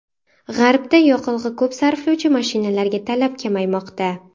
G‘arbda yoqilg‘i ko‘p sarflovchi mashinalarga talab kamaymoqda.